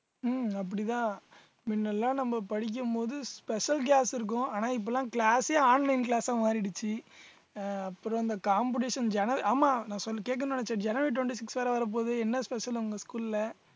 உம் அப்படிதான் முன்னெல்லாம் நம்ம படிக்கும் போது special class இருக்கும் ஆனா இப்பெல்லாம் class ஏ online class அஹ் மாறிடுச்சு அஹ் அப்புறம் இந்த competition jan~ ஆமா நான் கேட்கணும்ன்னு நினைச்சேன் january twenty-six வேற வரப்போகுது என்ன special உங்க school ல